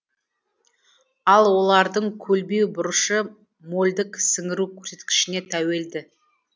ал олардың көлбеу бұрышы мольдік сіңіру көрсеткішіне тәуелді